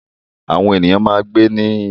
Àwọn ènìyàn máa ń gbé nínú ilé.